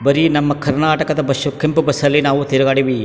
ಬರಿ ನಮ್ಮ ಕರ್ನಾಟಕದ ಬಷು ಕೆಂಪು ಬಸ್ ಅಲ್ಲಿ ನಾವು ತಿರ್ಗಾಡೀವಿ.